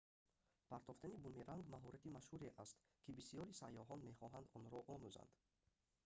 партофтани бумеранг маҳорати машҳуре аст кӣ бисёри сайёҳон мехоҳанд онро омузанд